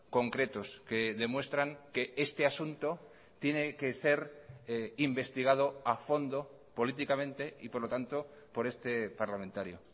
concretos que demuestran que este asunto tiene que ser investigado a fondo políticamente y por lo tanto por este parlamentario